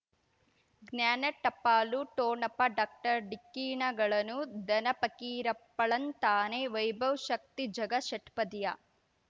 ಜ್ಞಾನ ಟಪಾಲು ಠೋಣಪ ಡಾಕ್ಟರ್ ಢಿಕ್ಕಿ ಣಗಳನು ಧನ ಫಕೀರಪ್ಪ ಳಂತಾನೆ ವೈಭವ್ ಶಕ್ತಿ ಝಗಾ ಷಟ್ಪದಿಯ